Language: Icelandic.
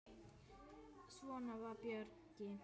Svona var Bjöggi.